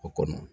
O kɔnɔ